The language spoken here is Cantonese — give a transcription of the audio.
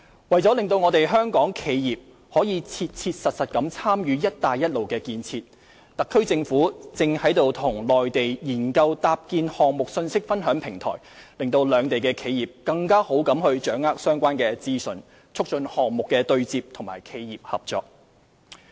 為了讓香港企業可切實參與"一帶一路"建設，特區政府正與內地研究搭建項目信息分享平台，讓兩地企業更好地掌握相關資訊，促進項目對接和企業合作。